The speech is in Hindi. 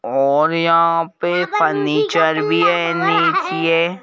और यहां पर फर्नीचर भी है नीचेए --